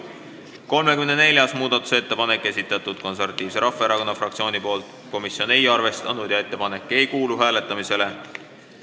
34. muudatusettepaneku on esitanud Eesti Konservatiivse Rahvaerakonna fraktsioon, komisjon ei arvestanud ja ettepanek ei kuulu hääletamisele.